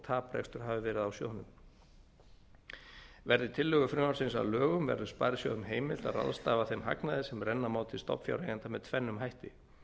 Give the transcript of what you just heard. taprekstur hafi verið á sjóðnum verði tillögur frumvarpsins að lögum verður sparisjóðum heimilt að ráðstafa þeim hagnaði sem renna má til stofnfjáreigenda með tvennum hætti